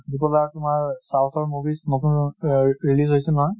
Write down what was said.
tripple r তোমাৰ south ৰ movies নতুন আহ release হৈছিল নহয়।